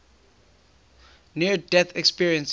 near death experiences